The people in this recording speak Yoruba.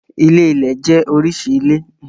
Ilé-ilẹ̀ jẹ́ oríṣi ilé.